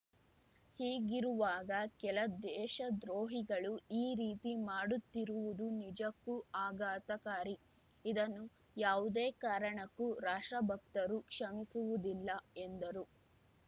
ಹೀಗಿರುವಾಗ ಕೆಲ ದೇಶದ್ರೋಹಿಗಳು ಈ ರೀತಿ ಮಾಡುತ್ತಿರುವುದು ನಿಜಕ್ಕೂ ಆಘಾತಕಾರಿ ಇದನ್ನು ಯಾವುದೇ ಕಾರಣಕ್ಕೂ ರಾಷ್ಟ್ರಭಕ್ತರು ಕ್ಷಮಿಸುವುದಿಲ್ಲ ಎಂದರು